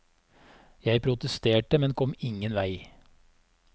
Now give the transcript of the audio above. Jeg protesterte, men kom ingen vei.